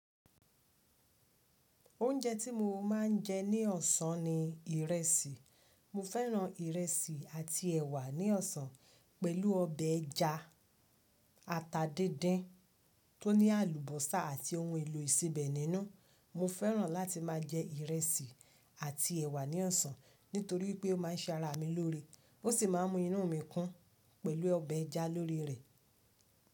Oúnjẹ tí mo máa ń jẹ ní ọ̀sán ni ìrẹsì. Mo fẹ́ràn ìrẹsì àti ẹ̀wà ní ọ̀sán pẹ̀lú ọbẹ̀ ẹja ata díndín tó ní àlùbọ́sà àti ohun èlò ìsebẹ̀ nínú. Mo fẹ́ràn láti máa jẹ ìrẹsì àti ẹ̀wà ní ọ̀sán nítorí pé ó máa ń ṣara mi lórí ó sì máa ń mú inú mi kún pẹ̀lú ọbẹ̀ ẹja lórí rẹ̀.